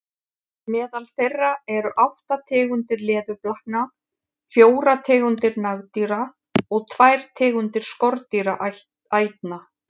Meðal þeirra eru átta tegundir leðurblakna, fjórar tegundir nagdýra og tvær tegundir skordýraætna.